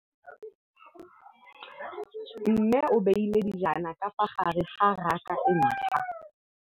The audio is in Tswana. Mmê o beile dijana ka fa gare ga raka e ntšha.